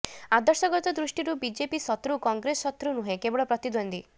ଆଦର୍ଶଗତ ଦୃଷ୍ଟିରୁ ବିଜେପି ଶତ୍ରୁ କଂଗ୍ରେସ ଶତ୍ରୁ ନୁହେଁ କେବଳ ପ୍ରତିଦ୍ୱନ୍ଦ୍ୱୀ